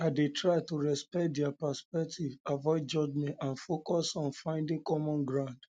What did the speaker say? i dey try to respect dia perspective avoid judgment and focus on finding common ground